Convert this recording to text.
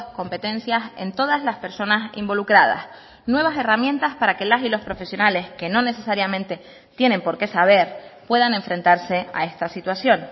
competencias en todas las personas involucradas nuevas herramientas para que las y los profesionales que no necesariamente tienen porqué saber puedan enfrentarse a esta situación